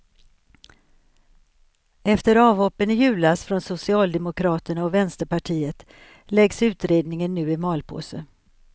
Efter avhoppen i julas från socialdemokraterna och vänsterpartiet läggs utredningen nu i malpåse.